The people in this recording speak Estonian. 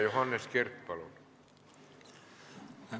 Johannes Kert, palun!